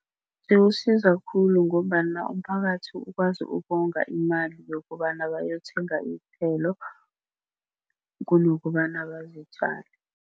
Ziwusiza khulu ngombana umphakathi ukwazi ukonga imali yokobana bayothenga iinthelo kunokobana bazithwale.